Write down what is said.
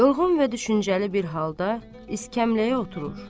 Yorğun və düşüncəli bir halda İskəmləyə oturur.